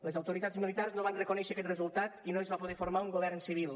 les autoritats militars no van reconèixer aquest resultat i no es va poder formar un govern civil